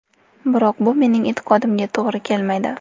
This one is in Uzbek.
Biroq bu mening e’tiqodimga to‘g‘ri kelmaydi.